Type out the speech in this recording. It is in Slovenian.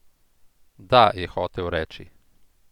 Da, je hotel reči.